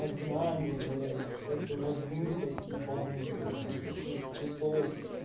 знание блять эту размытость ебанную насыщенность цветов